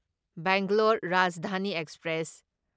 Bangalore Rajdhani express